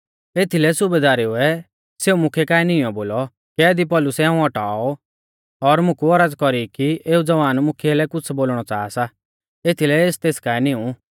एथीलै सुबेदारुऐ सेऊ मुख्यै काऐ नीईंयौ बोलौ कैदी पौलुसै हाऊं औटाऔ और मुकु औरज़ कौरी कि एऊ ज़वान मुख्यै लै कुछ़ बोलणौ च़ाहा सा एथीलै एस तेस काऐ निऊं